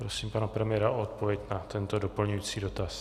Prosím pana premiéra o odpověď na tento doplňující dotaz.